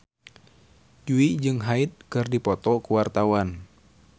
Jui jeung Hyde keur dipoto ku wartawan